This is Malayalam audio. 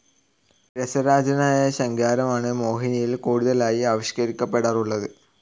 രസരാജനായ ശൃംഗാരമാണ് മോഹിനിയിൽ കൂടുതലായി ആവിഷ്കരിക്കപ്പെടാറുള്ളത്.